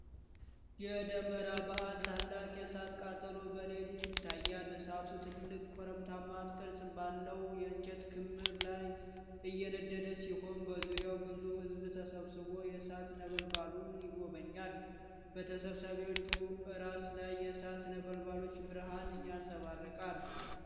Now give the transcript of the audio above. የደመራ በዓል ታላቅ የእሳት ቃጠሎ በሌሊት ይታያል። እሳቱ ትልቅ ኮረብታማ ቅርጽ ባለው የእንጨት ክምር ላይ እየነደደ ሲሆን፣ በዙሪያው ብዙ ህዝብ ተሰብስቦ የእሳት ነበልባሉን ይጎበኛል። በተሰብሳቢዎቹ ራስ ላይ የእሳት ነበልባሎች ብርሃን ያንጸባርቃል፣